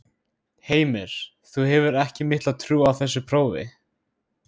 Heimir: Þú hefur ekki mikla trú á þessu prófi?